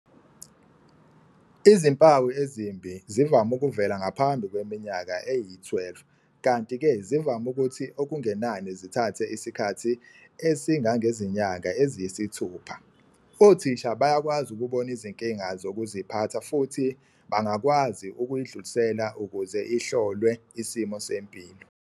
Izimpawu ezimbi zivame ukuvela ngaphambi kweminyaka eyi-12 kanti-ke zivame ukuthi okungenani zithathe isikhathi esingangezinyanga eziyisithupha. Othisha bayakwazi ukubona izinkinga zokuziphatha futhi bangakwazi ukuyidlulisela ukuze ihlolwe isimo sempilo.